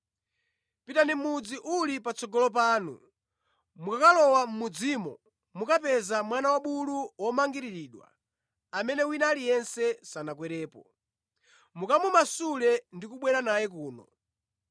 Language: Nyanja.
“Pitani mʼmudzi uli patsogolo panu, mukakalowa mʼmudzimo, mukapeza mwana wabulu womangiriridwa amene wina aliyense sanakwerepo. Mukamumasule ndi kubwera naye kuno.